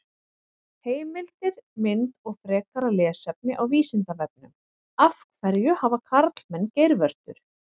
Heimildir, mynd og frekara lesefni á Vísindavefnum: Af hverju hafa karlmenn geirvörtur?